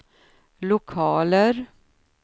lokaler